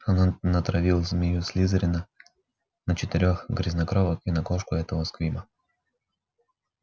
она натравила змею слизерина на четырёх грязнокровок и на кошку этого сквиба